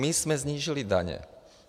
My jsme snížili daně.